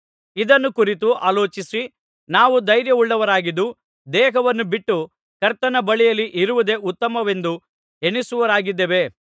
ಇದನ್ನು ಕುರಿತು ಆಲೋಚಿಸಿ ನಾವು ಧೈರ್ಯವುಳ್ಳವರಾಗಿದ್ದು ದೇಹವನ್ನು ಬಿಟ್ಟು ಕರ್ತನ ಬಳಿಯಲ್ಲಿ ಇರುವುದೇ ಉತ್ತಮವೆಂದು ಎಣಿಸುವವರಾಗಿದ್ದೇವೆ